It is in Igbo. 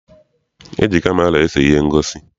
E ji kamera ese ihe ngosi.